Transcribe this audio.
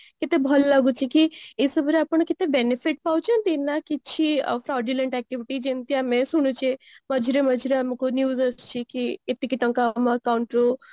କେତେ ଭଲ ଲାଗୁଚି କି ଏଇ ସବୁରେ ଆପଣ କେତେ benefit ପାଉଛନ୍ତି ନା କିଛି fraudulent activity ଯେମିତି ଆମେ ଶୁଣୁଛେ ମଝିରେ ମଝିରେ ଆମକୁ news ଆସୁଛି କି ଏତିକି ଟଙ୍କା ଆମ account ରୁ